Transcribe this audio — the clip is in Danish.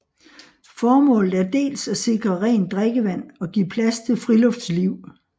Formålet er dels at sikre rent drikkevand og give plads til friluftsliv